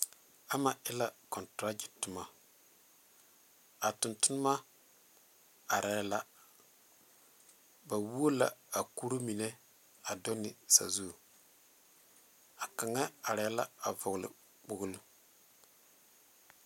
Ama e la kɔnteragye toma a tontonnema arɛɛ la ba wuo la a kuruu mine a do ne sazu a kaŋa arɛɛ la a vɔgle kpogli.